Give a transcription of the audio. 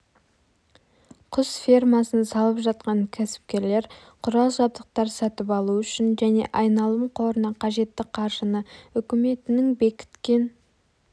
құс фермасын салып жатқан кәсіпкерлер құрал-жабдықтар сатып алу үшін және айналым қорына қажетті қаржыны үкіметінің бекіткен